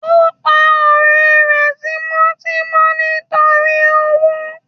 o pa ọrẹ rẹ tímò timò lorí owo